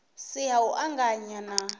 si ha u anganya na